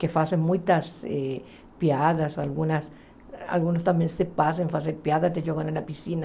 Que fazem muitas eh piadas, algumas também se passam a fazer piada, até jogando na piscina.